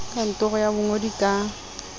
ke kantoro ya bongodi ka